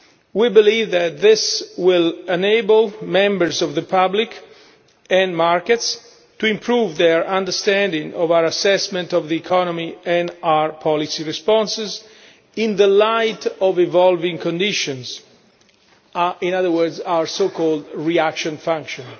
We believe that this will enable members of the public and markets to improve their understanding of our assessment of the economy and our policy responses in the light of evolving conditions in other words, our so called reaction function'.